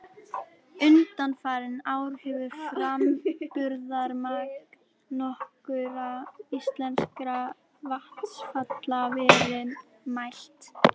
Undanfarin ár hefur framburðarmagn nokkurra íslenskra vatnsfalla verið mælt.